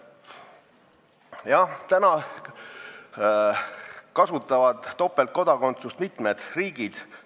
Jah, topeltkodakondsust võimaldavad mitmed riigid.